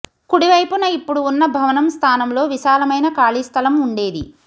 కుడివైపున ఇప్పుడు ఉన్న భవనం స్థానంలో విశాలమైన ఖాళీస్థలం ఉండేది